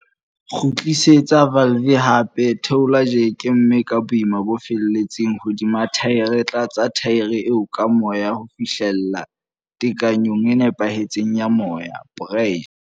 Kgutlisetsa valve hape, theola jeke, mme ka boima bo feletseng hodima thaere tlatsa thaere eo ka moya ho fihlella tekanyong e nepahetseng ya moya, pressure.